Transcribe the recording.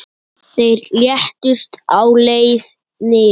Þeir létust á leið niður.